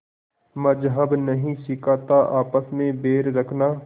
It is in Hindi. मज़्हब नहीं सिखाता आपस में बैर रखना